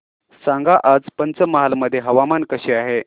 सांगा आज पंचमहाल मध्ये हवामान कसे आहे